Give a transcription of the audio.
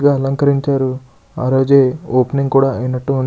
ఇలా అలంకరించారు ఆ రోజు ఓపెనింగ్ కూడా ఐనటువుం --